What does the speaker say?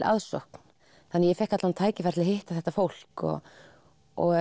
aðsókn þannig að ég fékk tækifæri til að hitta þetta fólk og og